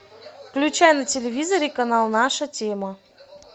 включай на телевизоре канал наша тема